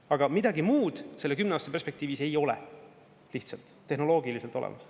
Aga midagi muud selle kümne aasta perspektiivis ei ole lihtsalt tehnoloogiliselt olemas.